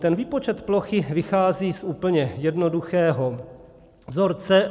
Ten výpočet plochy vychází z úplně jednoduchého vzorce.